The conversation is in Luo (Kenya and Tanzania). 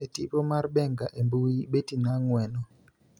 E tipo mar Benga e mbui, Bettina Ng�weno,